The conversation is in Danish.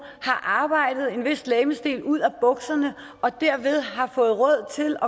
har arbejdet en vis legemsdel ud af bukserne og dermed har fået råd til